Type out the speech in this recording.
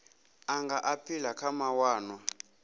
a nga aphila kha mawanwa